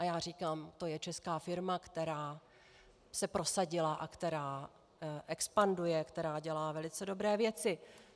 A já říkám: to je česká firma, která se prosadila a která expanduje, která dělá velice dobré věci.